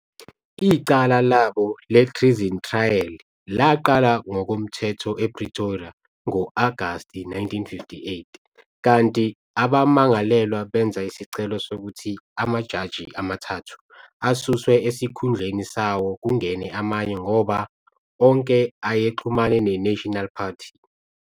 Icala labo le-Treason Trial laqala ngokomthetho ePretoria ngo-Agast 1958, kanti abamangalelwa benza isicelo sokuthi amajaji amathathu asuswe esikhundleni sawo kungene amanye ngoba onke ayexhumane ne-National Party.